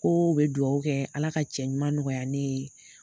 Ko u be duwawu kɛ ala ka cɛ ɲuman nɔgɔya ne ye.